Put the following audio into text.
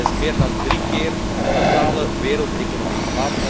Dat is meer dan drie keer de totale wereldeconomie.